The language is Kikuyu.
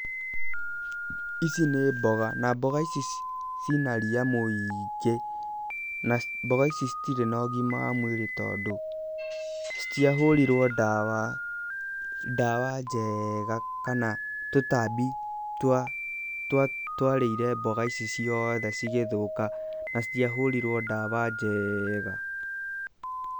Ici nĩ mboga, na mboga ici ci na ria mũingĩ, na mboga ici citirĩ na ũgima wa mwĩrĩ tondũ citiahũrirwo ndawa njega kana tũtambi twarĩire mboga ici ciothe cigĩthũka na citiahũrirwo ndawa njega.